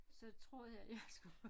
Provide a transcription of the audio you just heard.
Så troede jeg jeg skulle